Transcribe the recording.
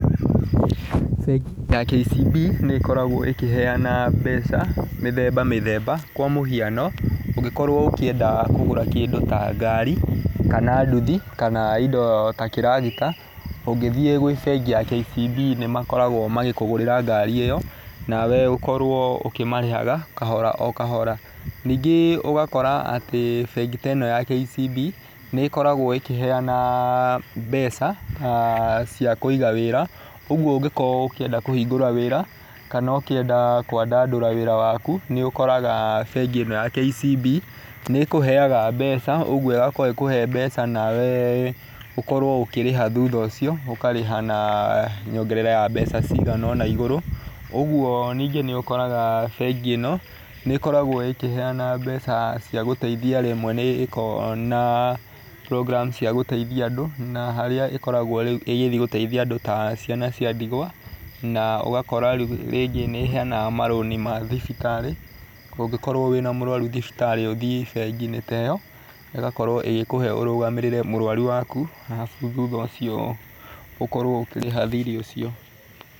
Bengi ya KCB nĩ ĩkoragwo ĩkĩheana mbeca cia mĩthemba mĩthemba kwa mũhiano ũngĩkorwo ũkĩenda kũgũra kĩndũ ta ngari kana nduthi kana indo ta kĩragita, ũngĩthiĩ gwĩ bengi ya KCB nĩ ĩkoragwo ĩgĩkũgũrĩra ngari ĩyo nawe ũkorwo ũkĩmarihaga kahora o kahora. Ningĩ ũgakora atĩ bengi ta ĩno ya KCB nĩ ĩkoragwo ĩkĩheana mbeca cia kũiga wĩra ũguo ũngĩenda gũkorwo ũkienda kũhingũra wĩra kana ũkĩenda kwandandũra wĩra waku. Nĩ ũkoraga bengi ĩno ya KCB nĩ ĩkũheaga mbeca ũguo ĩgakorwo ĩgĩkũhe mbeca nawe ũkorwo ũkĩrĩha thutha ũcio, ũkarĩha na nyongerera ya mbeca cigana ũna igũrũ. Ũguo ningĩ nĩ ũkoraga bengi ĩno nĩ ĩkoragwo ĩkĩheana mbeca cia gũteithia rĩmwe nĩ ĩkoragwo na programme cia gũteithoia andu. Na harĩa ĩkoragwo rĩu ĩgĩthiĩ gũteithia andũ ta ciana cia ndigwa na ũgakora rĩu rĩngĩ nĩ ĩheanaga marũni ma thibitarĩ, ũngĩkorwo wĩna mũrwaru thibitarĩ ũthiĩ bengi-inĩ ta ĩyo, ĩgakorwo ĩgĩkũhe ũrũgamĩrĩre mũrwaru waku arabu thutha ũcio ũkorwo ũkĩrĩha thirĩ ũcio.